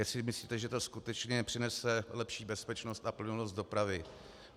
Jestli myslíte, že to skutečně přinese lepší bezpečnost a plynulost dopravy.